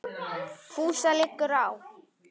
FÚSA LIGGUR Á